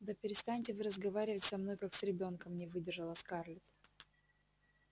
да перестаньте вы разговаривать со мной как с ребёнком не выдержала скарлетт